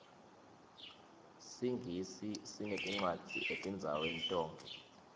singisi sineticwadzi etindzaweni tonkhe